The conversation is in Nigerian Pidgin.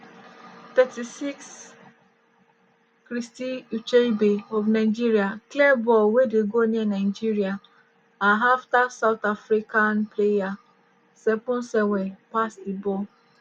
36' christy ucheibe of nigeria clear ball wey dey go near nigeria are afta south african player seponsenwe pass di ball.